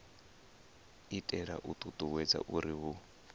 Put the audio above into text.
itela u ṱuṱuwedza uri hu